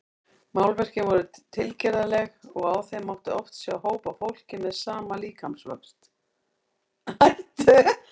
Málverkin voru tilgerðarleg og á þeim mátti oft sjá hóp af fólki með sama líkamsvöxt.